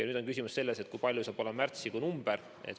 Nüüd on küsimus selles, kui suur saab olema märtsikuu number.